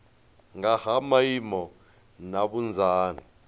nga ha maimo na vhunzani